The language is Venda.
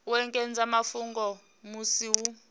u ekedza mafhungo musi hu